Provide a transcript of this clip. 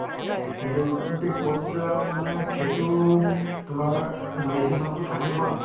কিন্তু এতিয়ালৈকে কত যাম মানে সেইটো তোমাৰ decision তো final হোৱা নাই